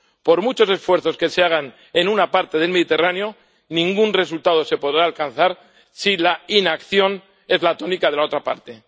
Por muchos esfuerzos que se hagan en una parte del Mediterráneo, ningún resultado se podrá alcanzar si la inacción es la tónica de la otra parte.